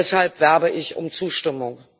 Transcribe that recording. Und deshalb werbe ich um Zustimmung.